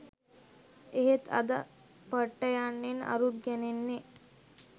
එහෙත් අද පට්ට යන්නෙන් අරුත් ගැනෙන්නේ